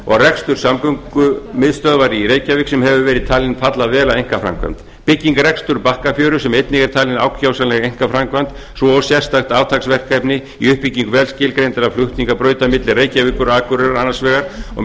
og rekstur samgöngumiðstöðvar í reykjavík sem hefur verið talin falla vel að einkaframkvæmd bygging og rekstur bakkafjöru sem einnig er talin ákjósanleg einkaframkvæmd svo og sérstakt átaksverkefni í uppbyggingu vel skilgreindra flutningabrauta milli reykjavíkur og akureyrar annars vegar og